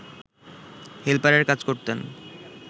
হেলপারের কাজ করতেন